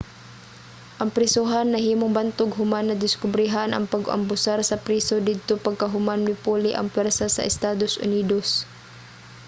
ang prisohan nahimong bantog human nadiskobrehan ang pag-abusar sa priso didto pagkahuman mipuli ang pwersa sa estados unidos